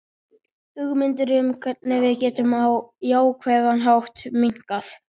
Hugmyndir um hvernig við getum á jákvæðan hátt minnkað.